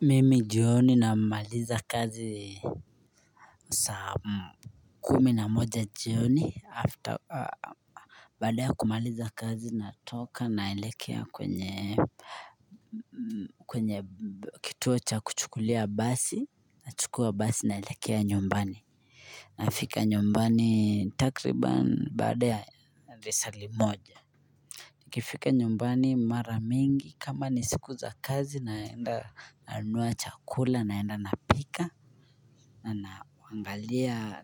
Mimi jioni namaliza kazi saa kumi na moja jioni after bada ya kumaliza kazi natoka naielekea kwenye kituo cha kuchukulia basi nachukua basi nailekea nyumbani nafika nyumbani takriban badea risali moja kifika nyumbani mara mingi kama ni siku za kazi naenda nanunua chakula naenda na pika nanangalia